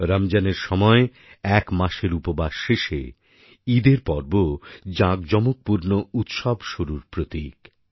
রমজানের সময় এক মাসের উপবাস শেষে ঈদের পর্ব জাঁকজমকপূর্ণ উৎসব শুরুর প্রতীক